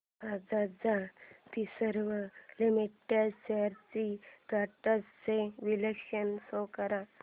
Bajaj Finserv limited shares trends चे विश्लेषण show कर